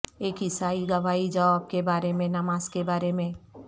ایک عیسائی گواہی جواب کے بارے میں نماز کے بارے میں